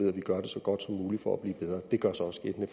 så godt som muligt for at blive bedre det gør sig også gældende